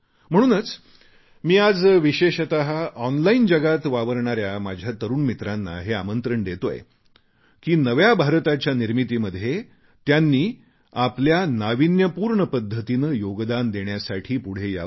म्हणूनच मी आज विशेषत ऑनलाइन जगात वावरणाऱ्या माझ्या तरुण मित्रांना हे आमंत्रण देतोय की नव्या भारताच्या निर्मितीमध्ये त्यांनी आपल्या नावीन्यपूर्ण पद्धतीने योगदान देण्यासाठी पुढे यावे